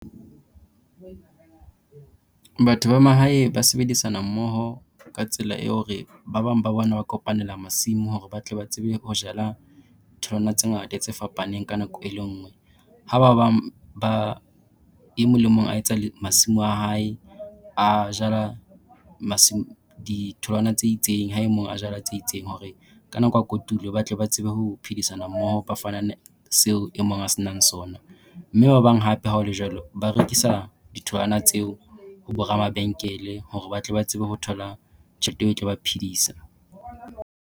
Batho ba mahae ba sebedisana mmoho ka tsela e hore, ba bang ba bona ba kopanela masimo hore ba tle ba tsebe ho jala tholwana tse ngata tse fapaneng ka nako e le ngwe. Ha ba bang ba e mong le mong a etsa masimo a hae a jala ditholwana tse itseng ha e mong a jala tse itseng hore ka nako ya kotulo batle ba tsebe ho phedisana mmoho ba fanane seo e mong a se nang sona. Mme ba bang hape ha ho le jwalo ba rekisa ditholwana tseo ho bo ramabenkele hore ba tle ba tsebe ho thola tjhelete e tlo ba phedisa.